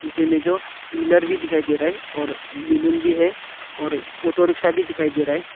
नीचे में जो पिल्लर भी दिखाई दे रहा है और बैलून भी है और ऑटो रिक्शा भी दिखाई दे रहा है।